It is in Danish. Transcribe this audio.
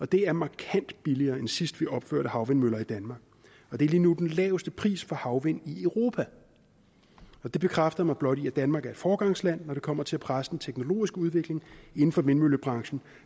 det er markant billigere end sidst vi opførte havvindmøller i danmark og det er lige nu den laveste pris for havvind i europa det bekræfter mig blot i at danmark er et foregangsland når det kommer til at presse den teknologiske udvikling inden for vindmøllebranchen